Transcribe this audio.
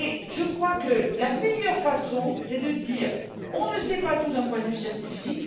Je crois que la solution c'est de dire On ne sait pas tout d'un point de vue scientifique.